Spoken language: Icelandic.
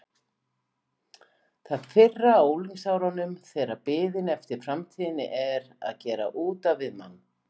Það fyrra á unglingsárunum þegar biðin eftir framtíðinni er að gera út af við mann.